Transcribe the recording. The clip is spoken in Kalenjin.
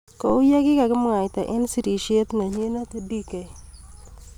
Kou yekikamwaita eng sirisiet nenyinet Dk.